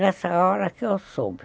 Nessa hora que eu soube.